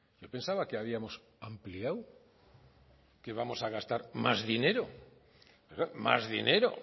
yo pensaba que habíamos ampliado que vamos a gastar más dinero más dinero